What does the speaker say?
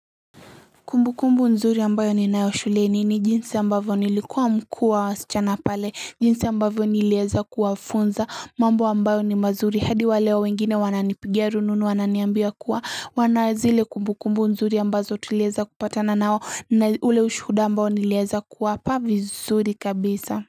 Kumbu kumbu nzuri ambayo ninayo shuleni ni jinsi ambavyo nilikuwa mkuu wa wasichana pale jinsi ambavyo niliweza kuwafunza mambo ambayo ni mazuri hadi waleo wengine wananipigia rununu wananiambia kuwa wana zile kumbu kumbu nzuri ambazo tulieza kupatana nao na ule ushuhuda ambayo niliweza kuwapa vizuri kabisa.